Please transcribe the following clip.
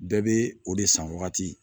Bɛɛ bɛ o de san wagati